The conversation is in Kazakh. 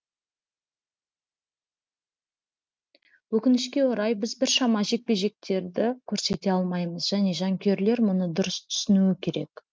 өкінішке орай біз біршама жекпе жектері көрсете алмаймыз және жанкүйерлер мұны дұрыс түсінуі керек